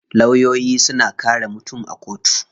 Lawyoyi suna kare mutum a kotu.